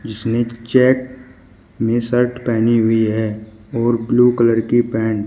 जिसने चेक में शर्ट पहनी हुई है और ब्लू कलर की पैंट --